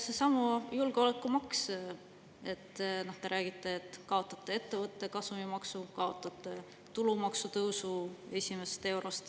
Seesama julgeolekumaks – te räägite, et kaotate ettevõtte kasumimaksu, kaotate tulumaksu tõusu esimesest euros.